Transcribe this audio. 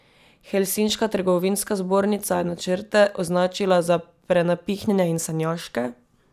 Helsinška trgovinska zbornica je načrte označila za prenapihnjene in sanjaške.